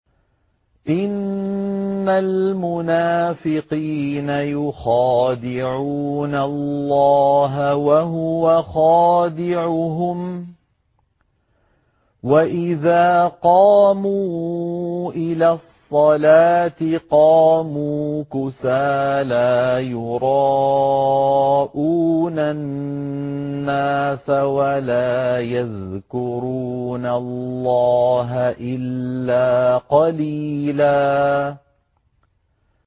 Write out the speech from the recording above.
إِنَّ الْمُنَافِقِينَ يُخَادِعُونَ اللَّهَ وَهُوَ خَادِعُهُمْ وَإِذَا قَامُوا إِلَى الصَّلَاةِ قَامُوا كُسَالَىٰ يُرَاءُونَ النَّاسَ وَلَا يَذْكُرُونَ اللَّهَ إِلَّا قَلِيلًا